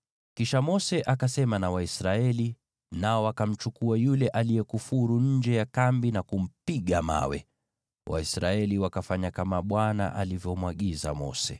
Kisha Mose akasema na Waisraeli, nao wakamchukua yule aliyekufuru nje ya kambi na kumpiga mawe. Waisraeli wakafanya kama Bwana alivyomwagiza Mose.